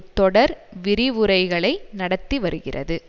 தொடர் விரிவுரைகளை நடத்திவருகிறது